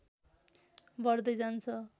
बढ्दै जान्छ